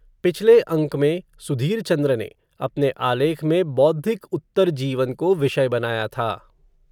पिछले अंक में, सुधीर चंद्र ने, अपने आलेख में, बौद्धिक उत्तरजीवन को, विषय बनाया था